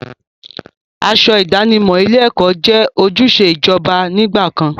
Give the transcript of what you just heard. Aṣọ ìdánimọ̀ ilé-ẹ̀kọ́ jẹ́ ojúṣe ìjọba nígbà kan.